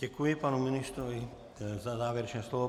Děkuji panu ministrovi za závěrečné slovo.